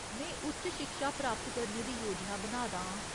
में उच्च शिक्षा हासल करने दी योजना बना दा आं।